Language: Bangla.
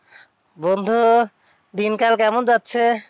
বন্ধু দিনকাল কেমন যাচ্ছে?